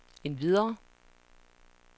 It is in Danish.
endvidere